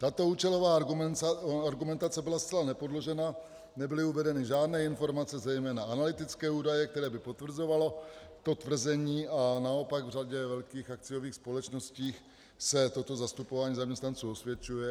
Tato účelová argumentace byla zcela nepodložená, nebyly uvedeny žádné informace, zejména analytické údaje, které by potvrzovaly to tvrzení, a naopak v řadě velkých akciových společností se toto zastupování zaměstnanců osvědčuje.